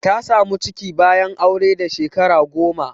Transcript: Ta samu ciki bayan aure da Shekara goma.